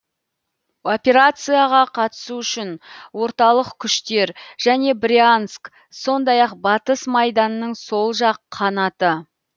операцияға қатысу үшін орталық күштер және брянск сондай ақ батыс майданның сол жақ қанаты